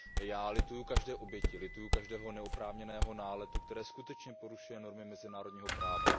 Já lituju každé oběti, lituju každého neoprávněného náletu, který skutečně porušuje normy mezinárodního práva.